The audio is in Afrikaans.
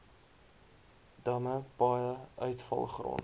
damme paaie uitvalgrond